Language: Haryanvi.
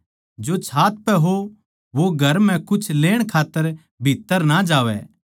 जो छात पै हो वो घर म्ह कुछ लेण खात्तर भीत्त्तर ना जावैं